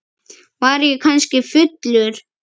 Var ég kannski fullur?